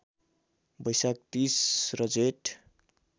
वैशाख ३० र जेठ